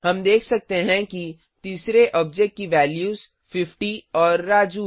हम देख सकते हैं कि तीसरे ऑब्जेक्ट की वैल्यूज 50 और राजू